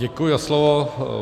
Děkuji za slovo.